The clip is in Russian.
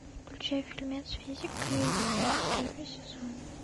включай фильмец физика или химия первый сезон